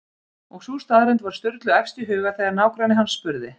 Og sú staðreynd var Sturlu efst í huga þegar nágranni hans spurði